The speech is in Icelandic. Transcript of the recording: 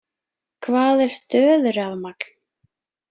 Hvað er stöðurafmagn?